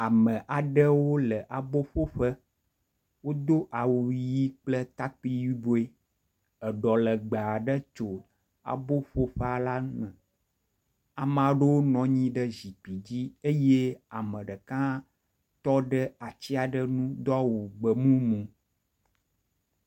Ame aɖewole abo ƒoƒe. wodo awu ʋi kple takpui yibɔe. Eɖɔ legbe aɖe tu aboƒeƒea la me. Ame aɖewo nɔ anyi ɖe zikpui dzi eye ame ɖeka hã tɔ ɖe atsi aɖe u do awu gbemumu.